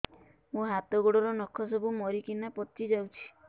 ମୋ ହାତ ଗୋଡର ନଖ ସବୁ ମରିକିନା ପଚି ଯାଉଛି